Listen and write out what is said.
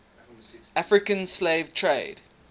african slave trade